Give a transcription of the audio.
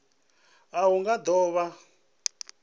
a hu nga do vha